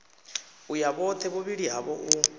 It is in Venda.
uya vhothe vhuvhili havho u